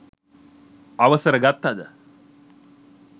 අවසර ගත්තද